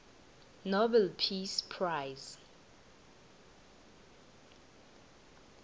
nobel peace prize